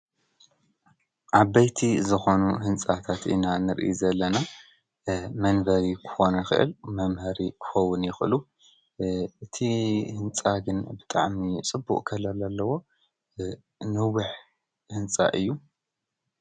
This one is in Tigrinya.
ዓበይቲ ዝኾኑ ህንጻታት ኢና ንርኢ ዘለና መንበሪ ክኾን ይኽእል መምህሪ ክኾዉን ይኽእሉ እቲ ሕንጻ ግን ብጣዕሚ ጽቡቕ ከለር ዘለዎ ነዊሕሕ ህንጻ እዩ